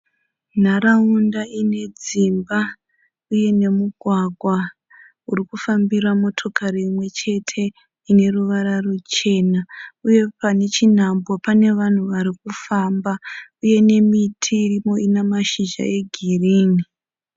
Nharaunda ine dzimba uye nemugwagwa uri kufambira motokari imwe chete ine ruvara ruchena uye pane chinhambo pane vanhu vari kufamba uye nemiti irimo ine mashizha egirini.